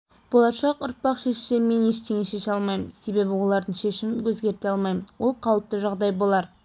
болашақ ұрпақ шешсе мен ештеңе істей алмаймын себебі олардың шешімін өзгерте алмаймын ол қалыпты жағдай болар